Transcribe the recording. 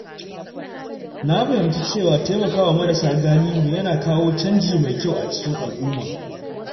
Na fahimci cewa taimakawa marasa galihu yana kawo canji mai kyau a cikin al’umma.